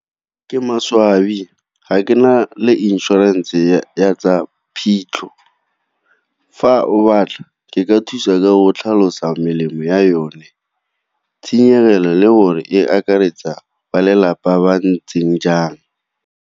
Ke maswabi ga ke na le inšorense ya tsa phitlho. Fa o batla, ke ka thusa ka o tlhalosa melemo ya yone, tshenyegelo le gore e akaretsa ba lelapa ba ntseng jang.